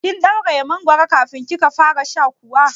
Kin ɗauraye mangoron kafin kika fara sha kuwa?